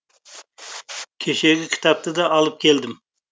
кешегі кітапты да алып келдім